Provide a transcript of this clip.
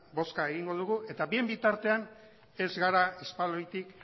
bozka egingo dugu eta bien bitartean ez gara espaloitik